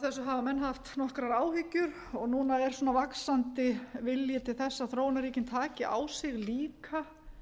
þessu hafa menn haft nokkrar áhyggjur og núna er svona vaxandi vilji til þess að þróunarríkin taki á sig líka